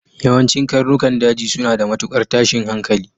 Yawancin karnukan daji suna da matukar tashin hankali.